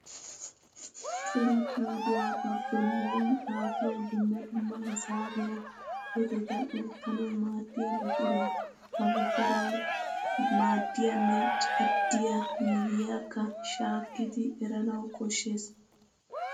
Cora paydduwaa ba bollan xaafiya dumma dumma hisaabiyaa heeteta oottanaw maaddiyaa buquraa. Ha buquraw maaddiyanne caddiya miyyiyakka shaakkidi eranaaw koshshees.